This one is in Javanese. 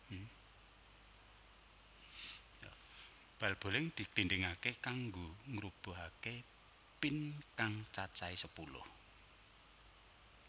Bal boling diglindingaké kanggo ngrubuhake pin kang cacahé sepuluh